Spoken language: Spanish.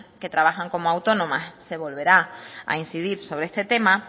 que trabajan como autónomas se volverá a incidir sobre este tema